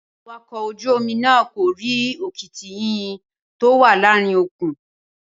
Awakọ̀ ojú-omi náà kò rí òkìtì yìnyín tó wà láàárín òkun